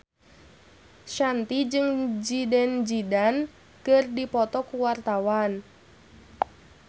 Shanti jeung Zidane Zidane keur dipoto ku wartawan